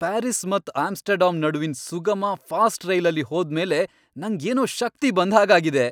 Paris ಮತ್ Amsterdam ನಡುವಿನ್ ಸುಗಮ, ಫಾಸ್ಟ್ ರೈಲಲ್ಲಿ ಹೋದ್ ಮೇಲೆ ನಂಗ್ ಏನೋ ಶಕ್ತಿ ಬಂದ್ ಹಾಗ್ ಆಗಿದೆ.